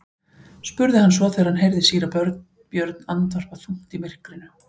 spurði hann svo þegar hann heyrði síra Björn andvarpa þungt í myrkrinu.